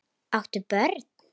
Átt þú börn?